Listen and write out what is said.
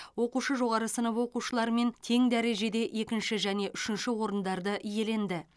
оқушы жоғары сынып оқушыларымен тең дәрежеде екінші және үшінші орындарды иеленді